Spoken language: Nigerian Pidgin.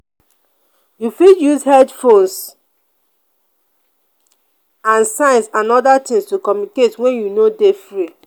you fit use headphones dnd signs and oda things to communicate when you no dey free